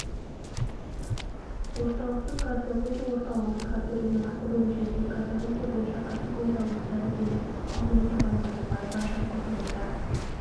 орталықтың кардиология орталығының кардио-реанимация бөлімшесінің кардиология бойынша категориялы дәрігері ал оның жұбайы базарбаева айжан қызылорда